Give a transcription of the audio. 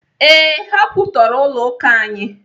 Ee, ha kwụtọrọ ụlọ akụ anyị.